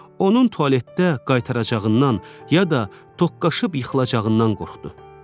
Onun tualetdə qaytaracağından ya da toqqaşıb yıxılacağından qorxdu.